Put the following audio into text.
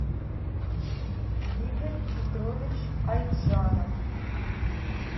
игорь петрович айджанов